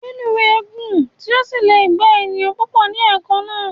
Reluwe gùn tí o sílẹ gbà èèyàn púpọ ní ẹ̀kan na